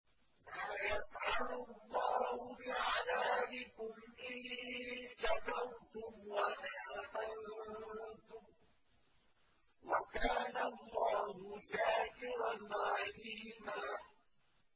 مَّا يَفْعَلُ اللَّهُ بِعَذَابِكُمْ إِن شَكَرْتُمْ وَآمَنتُمْ ۚ وَكَانَ اللَّهُ شَاكِرًا عَلِيمًا